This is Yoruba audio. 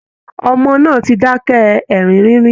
Ọmọ náà ti dákẹ́ ẹ̀rín rínrín